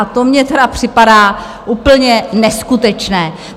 A to mně tedy připadá úplně neskutečné!